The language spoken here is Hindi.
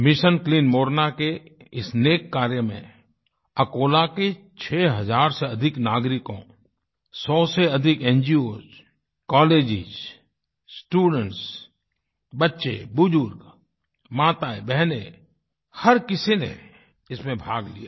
मिशन क्लीन मोरना के इस नेक कार्य में अकोला के छह हज़ार से अधिक नागरिकों सौ से अधिक न्गोस कॉलेजेस स्टूडेंट्स बच्चे बुजुर्ग माताएँबहनें हर किसी ने इसमें भाग लिया